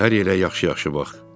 Hər yerə yaxşı-yaxşı bax.